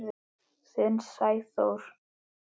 Þinn Sæþór.